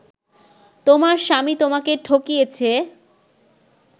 তোমার স্বামী তোমাকে ঠকিয়েছে